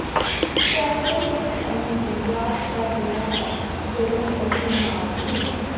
Sheldon ਇੱਕ ਸਮੇਂ ਦੀ ਯਾਦ ਕਰ ਰਿਹਾ ਹੈ ਜਦੋਂ ਉਹ ਬਿਮਾਰ ਸੀ